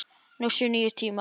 Nú séu nýir tímar.